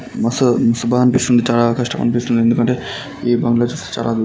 మసు సుబా అనిపిస్తుంది చాలా అనిపిస్తుంది ఎందుకంటే ఈ బంగ్లా చూస్తే చాలా--